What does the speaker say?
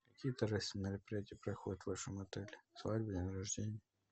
какие торжественные мероприятия проходят в вашем отеле свадьбы дни рождения